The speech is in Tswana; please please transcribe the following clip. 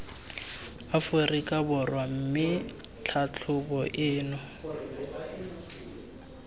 aforika borwa mme tlhatlhobo eno